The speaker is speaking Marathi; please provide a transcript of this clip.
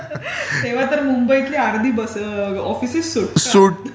तेव्हा तर मुंबईतले अर्धे ऑफिसेस सुटतात.